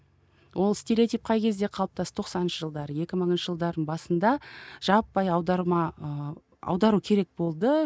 ол стереотип қай кезде қалыптасты тоқсаныншы жылдары екі мыңыншы жылдардың басында жаппай аударма ыыы аудару керек болды